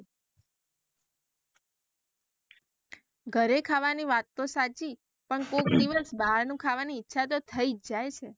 ઘરે ખાવાની વાત તો સાચી પણ કોઈ દિવસે બહારનું ખાવાની ઇચ્છા તો થઇ જાય છે.